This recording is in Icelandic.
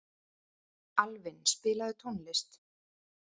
Alvin, spilaðu tónlist.